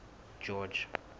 george